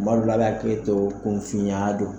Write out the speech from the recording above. Kuma dɔw la a bi hakɛto kunfiya don